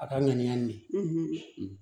A ka ŋaniya ni